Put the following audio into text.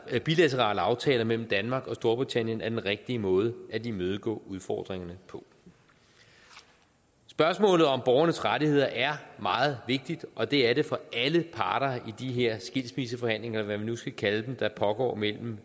at bilaterale aftaler mellem danmark og storbritannien er den rigtige måde at imødegå udfordringerne på spørgsmålet om borgernes rettigheder er meget vigtigt og det er det for alle parter i de her skilsmisseforhandlinger eller hvad vi nu skal kalde dem der pågår mellem